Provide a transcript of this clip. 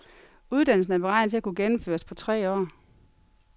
Uddannelsen er beregnet til at kunne gennemføres på tre år.